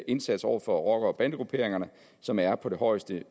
indsats over for rockere og bandegrupperinger som er på det højeste